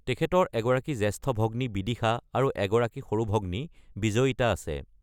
তেখেতৰ এগৰাকী জ্যেষ্ঠ ভগ্নী বিদিশা আৰু এগৰাকী সৰু ভগ্নী বিজয়ীতা আছে।